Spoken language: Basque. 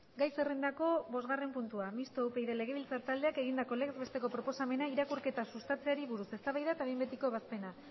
gai zerrendako bosgarren puntua mistoa upyd legebiltzar taldeak egindako legez besteko proposamena irakurketa sustatzeari buruz eztabaida eta behin betiko ebazpena